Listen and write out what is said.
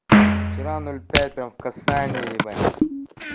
вчера ноль пять в касание ебать